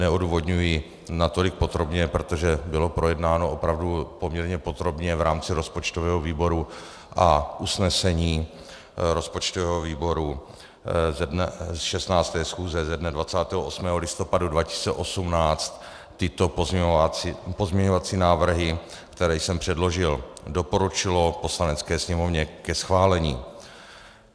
Neodůvodňuji natolik podrobně, protože bylo projednáno opravdu poměrně podrobně v rámci rozpočtového výboru a usnesení rozpočtového výboru z 16. schůze ze dne 28. listopadu 2018 tyto pozměňovací návrhy, které jsem předložil, doporučilo Poslanecké sněmovně ke schválení.